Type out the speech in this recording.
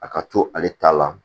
A ka to ale ta la